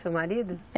Seu marido?